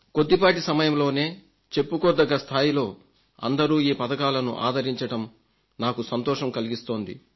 కొద్దిపాటి సమయంలోనే చెప్పుకోదగ్గ స్థాయిలో అందరూ పథకాలను ఆదరించడం నాకు సంతోషం కలిగిస్తోంది